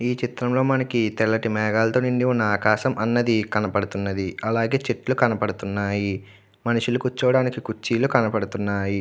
ఈ చిత్రంలో మనకి తెల్లటి మేఘాలతో నిండి ఉన్న ఆకాశం అన్నది కనబడుతున్నది. అలాగే చెట్లు కనబడుతున్నాయి. మనుషులు కూర్చోవడానికి కుర్చీలు కనపడుతున్నాయి.